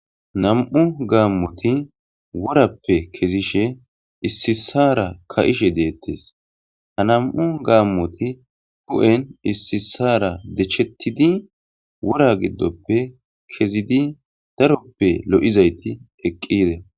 Nam'u gaammoti worappe kezishe ississara ka'she deettes ha nam7u gaammoti d'en issisara dechettidi wora giddoppe kezidi daroppe lo'zayti eqqire